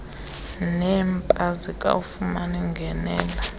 neeemp azikayifumani ingenelo